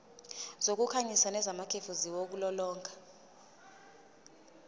zokukhanyisa nezamakhefu ziwulolonga